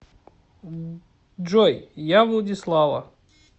джой я владислава